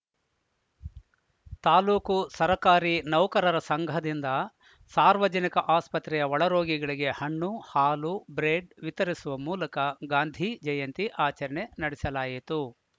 ತಾಲೂಕು ಸರಕಾರಿ ನೌಕರರ ಸಂಘದಿಂದ ಸಾರ್ವಜನಿಕ ಆಸ್ಪತ್ರೆಯ ಒಳರೋಗಿಗಳಿಗೆ ಹಣ್ಣು ಹಾಲು ಬ್ರೇಡ್‌ ವಿತರಿಸುವ ಮೂಲಕ ಗಾಂಧಿ ಜಯಂತಿ ಆಚರಣೆ ನಡೆಸಲಾಯಿತು